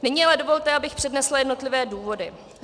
Nyní ale dovolte, abych přednesla jednotlivé důvody.